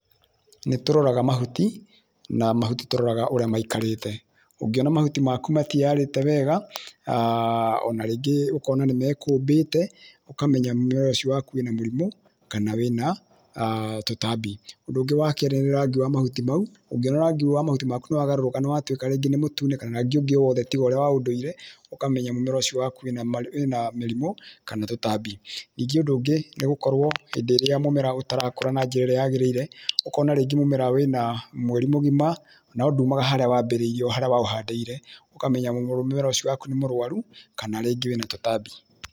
Nĩ tũroraga mahuti, na mahuti tũroraga ũrĩa maikarĩte, ũngĩona mahuti maku matiĩyarĩte wega, ona rĩngĩ ũkona nĩ mekũmbĩte, ũkamenya mũmera ũcio waku wĩna mũrimũ, kana wĩna tũtambi. Ũndũ ũngĩ wa kerĩ nĩ rangi wa mahuti mau, ũngĩona rangi wa mahuti waku nĩ wagarũrũka nĩ watuĩka rĩngĩ nĩ mũtune kana rangĩ o wothe tiga ũrĩa wa ũndũire, ũkamenya mũmera ũcio waku wĩna mĩrimũ, kana tũtambi. Ningĩ ũndũ ũngĩ nĩ gũkorwo hĩndĩ ĩrĩa mũmera ũtarakũra na njĩra ĩrĩa yagĩrĩire, ũkona rĩngĩ mũmera wĩna mweri mũgima, no ndumaga harĩa wambĩrĩirie o harĩa waũhandĩire, ũkamenya mũmera ũcio waku nĩ mũrwaru, kana rĩngĩ wĩna tũtambi.